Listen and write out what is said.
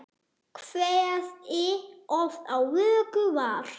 Kveðið oft á vöku var.